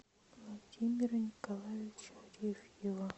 владимира николаевича арефьева